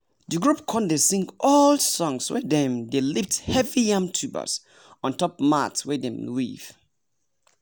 the group con dey sing old songs when dem dey lift heavy yam tubers ontop mat wey dem weave.